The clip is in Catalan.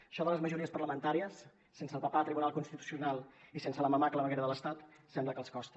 això de les majories parlamentàries sense el papà tribunal constitucional i sense la mamà claveguera de l’estat sembla que els costa